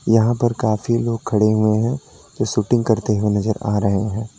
यहां पर काफी लोग खड़े हुए हैं शूटिंग करते हुए नजर आ रहे हैं।